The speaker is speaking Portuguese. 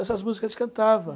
Essas músicas eles cantava